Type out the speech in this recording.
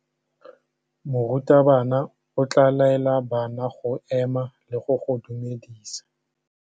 Morutabana o tla laela bana go ema le go go dumedisa.